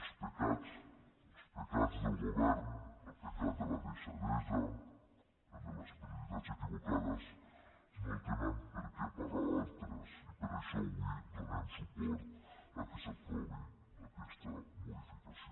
els pecats els pecats del govern el pecat de la deixadesa el de les prioritats equivocades no tenen per què pagarlos altres i per això avui donem suport al fet que s’aprovi aquesta modificació